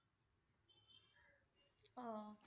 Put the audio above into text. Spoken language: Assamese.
অ'